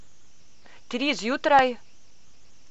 Tri zjutraj?